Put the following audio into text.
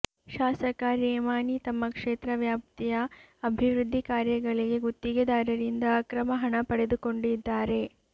ಶಾಸಕ ರೇಮಾನಿ ತಮ್ಮ ಕ್ಷೇತ್ರ ವ್ಯಾಪ್ತಿಯ ಅಬಿವೃದ್ದಿ ಕಾರ್ಯಗಳಿಗೆ ಗುತ್ತಿಗೆದಾರರಿಂದ ಅಕ್ರಮ ಹಣ ಪಡೆದುಕೊಂಡಿದ್ದಾರೆ